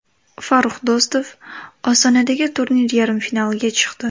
Farrux Do‘stov Ostonadagi turnir yarim finaliga chiqdi.